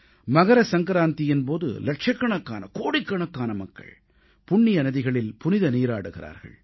மகர சங்கராந்தியின் போது இலட்சக்கணக்கானகோடிக்கணக்கான மக்கள் புண்ணிய நதிகளில் புனித நீராடுகிறார்கள்